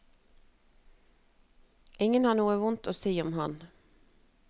Ingen har noe vondt å si om ham.